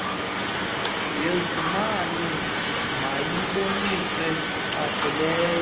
yezimali mayibonise cacileyo